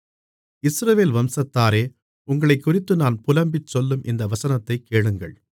இஸ்ரவேல் வம்சத்தாரே உங்களைக்குறித்து நான் புலம்பிச் சொல்லும் இந்த வசனத்தைக் கேளுங்கள்